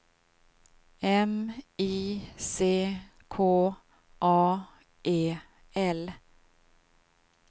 M I C K A E L